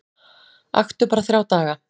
Aktu bara þrjá daga